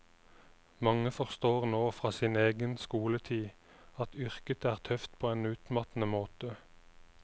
Mange forstår nå fra sin egen skoletid at yrket er tøft på en utmattende måte.